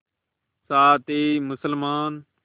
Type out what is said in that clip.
साथ ही मुसलमान